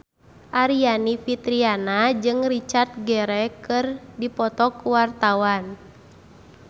Aryani Fitriana jeung Richard Gere keur dipoto ku wartawan